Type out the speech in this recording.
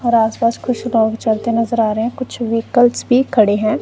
और आस पास कुछ लोग जाते नजर आ रहे हैं कुछ व्हीकल्स भी खड़े हैं।